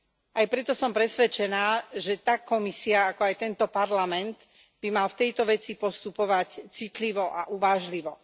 Aj preto som presvedčená, že tak Komisia, ako aj tento Parlament, by mali v tejto veci postupovať citlivo a uvážlivo.